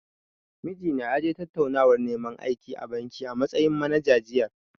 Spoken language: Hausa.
Mijina ya je tattaunawar neman aiki a banki, a matsayin manager, jiya.